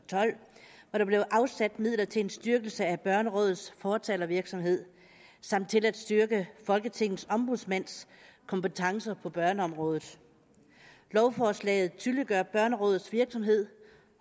og der blev afsat midler til en styrkelse af børnerådets fortalervirksomhed samt til at styrke folketingets ombudsmands kompetencer på børneområdet lovforslaget tydeliggør børnerådets virksomhed